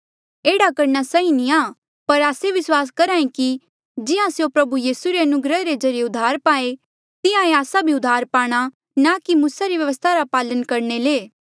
एह्ड़ा करणा सही नी आ पर आस्से विस्वास करहा ऐें कि जिहां स्यों प्रभु यीसू रे अनुग्रह रे ज्रीए उद्धार पाहें तिहां ई आस्सा भी उद्धार पाणा ना की मूसा री व्यवस्था रा पालन करणे ले